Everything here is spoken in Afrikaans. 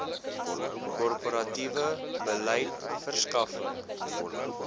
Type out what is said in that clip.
korporatiewe beleid verskaffing